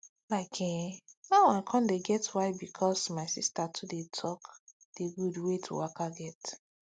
like eh na now i con get why because my sister too dey talk d gud wey to waka get